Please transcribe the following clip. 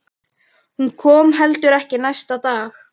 Hún kom heldur ekki næsta dag.